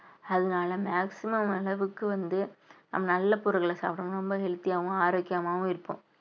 அதனால maximum அளவுக்கு வந்து நல்ல பொருள்களை சாப்பிடவும் ரொம்ப healthy ஆவும் ஆரோக்கியமாவும் இருப்போம்